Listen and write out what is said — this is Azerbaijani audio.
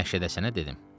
Məşədə sən dedim: